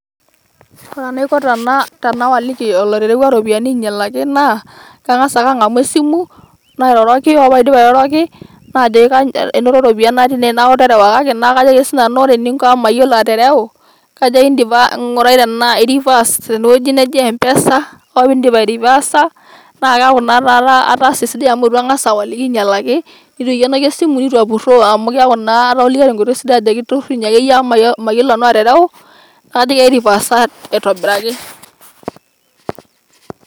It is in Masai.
Ore enaiko tena tenawaliki olaterewua iropiyiani ainyalaki naa kangas ake angamu esimu ,nairoroki ,ore paidip airoroki najoki enoto iropiyiani natii ine niaku terewakaki ,najoki ake si nanu ore eninko amu mayiolo atereu ,ngurai tena indim a reverse tene wuei neji mpesa ,ore pindip airevasa naa keaku naa ataasa sidai amu angas awaliki ainyialaki ,nitu aikienoki esimu ,nitu apuroo .